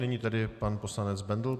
Nyní tedy pan poslanec Bendl.